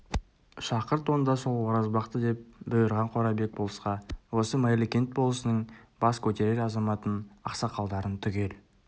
шақырт онда сол оразбақты деп бұйырған қорабек болысқа осы майлыкент болысының бас көтерер азаматын ақсақалдарын түгел